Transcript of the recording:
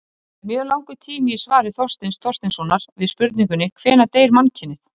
Það er mjög langur tími í svari Þorsteins Þorsteinssonar við spurningunni Hvenær deyr mannkynið?